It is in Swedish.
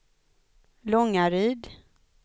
Långaryd